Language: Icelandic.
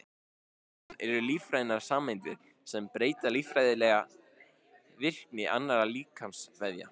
Hormón eru lífrænar sameindir sem breyta lífeðlisfræðilega virkni annarra líkamsvefja.